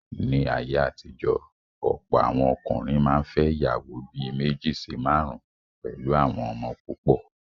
Ní ayé àtijọ́, ọ̀pọ̀ àwọn ọkùnrin máa n fẹ́ ìyàwó bí méjì sí márùn pẹ̀lú àwọn ọmọ púpọ̀